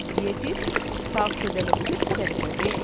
எதிர் தாக்குதலுக்கு சென்றது